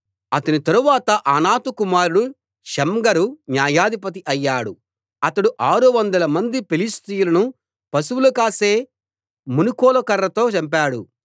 అతని తరువాత అనాతు కుమారుడు షమ్గరు న్యాయాధిపతి అయ్యాడు అతడు ఆరు వందల మంది ఫిలిష్తీయులను పశువులు కాసే మునుకోల కర్రతో చంపాడు